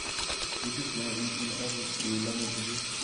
Wisis nea iutyen oret ye ilonye tulwet.